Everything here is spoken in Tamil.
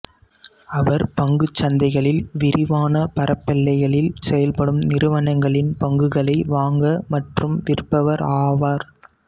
அவர் பங்குச் சந்தைகளில் விரிவான பரப்பெல்லைகளில் செயல்படும் நிறுவனங்களின் பங்குகளை வாங்க மற்றும் விற்பவர் ஆவார்